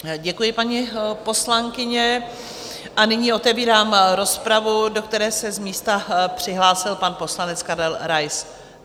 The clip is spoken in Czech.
Děkuji, paní poslankyně, a nyní otevírám rozpravu, do které se z místa přihlásil pan poslanec Karel Rais.